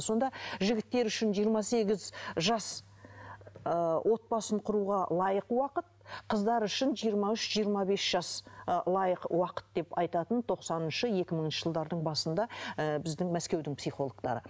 сонда жігіттер үшін жиырма сегіз жас ыыы отбасын құруға лайық уақыт қыздар үшін жиырма үш жиырма бес жас ы лайық уақыт деп айтатын тоқсаныншы екі мыңыншы жылдардың басында ыыы біздің мәскеудің психологтары